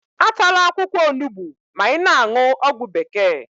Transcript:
Atala akwụkwọ onugbu ma ị na-aṅụ ọgwụ bekee